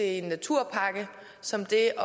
en naturpakke som til at